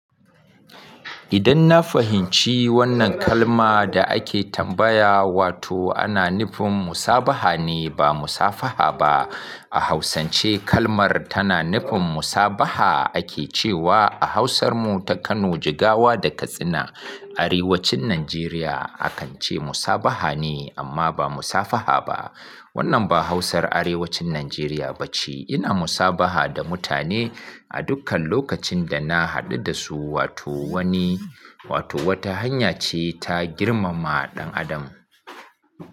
Idan na fahimci wannan kalma da ake tambaya, wato ana nufin musabaha ne ba musafaha ba. A hausance kalmar tana nufin musabaha ake cewa a hausar mu ta Kano, Jigawa da Katsina, Arewacin Najeriya akan ce musabaha ne amma ba musafaha ba. Wannan ba hausa Arewacin Najeriya ba ce. Ina musabaha da mutane a dukkan lokacin da na haɗu da su wato wani, wato wata hanya ce ta girmama ɗan adam.